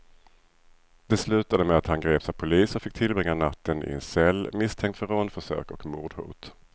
Det slutade med att han greps av polis och fick tillbringa natten i en cell, misstänkt för rånförsök och mordhot.